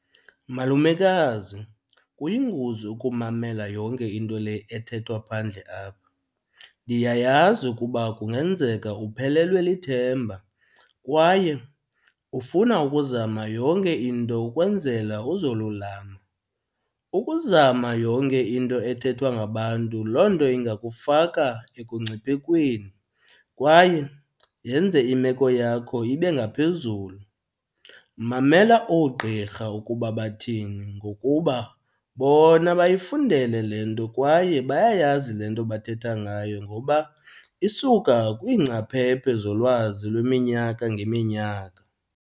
Malumekazi, kuyingozi ukumamela yonke into le ethethwa phandle apha. Ndiyayazi ukuba kungenzeka uphelelwe lithemba kwaye ufuna ukuzama yonke into ukwenzela uzolulama. Ukuzama yonke into ethethwa ngabantu loo nto ingakufaka ekungciphekweni kwaye yenze imeko yakho ibe ngaphezulu. Mamela oogqirha ukuba bathini ngokuba bona bayifundele le nto kwaye bayayazi le nto bathetha ngayo ngoba isuka kwiingcaphephe zolwazi lweminyaka ngeminyaka.